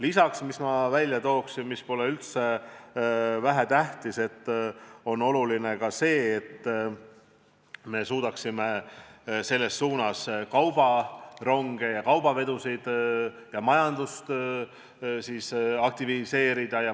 Lisaks tooksin ma välja – see pole üldse vähetähtis –, et oluline on seegi, et suudaksime selles suunas kaubarongiliiklust, kaubavedusid ja majandust aktiveerida.